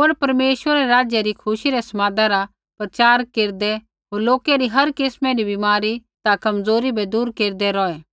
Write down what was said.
होर परमेश्वरै रै राज्य री खुशी रै समादा रा प्रचार केरदा होर लोकै री हर किस्मै री बीमारी ता कमज़ोरी बै दूर केरदा रौहू